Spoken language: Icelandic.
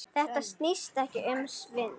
Þetta snýst ekki um svindl.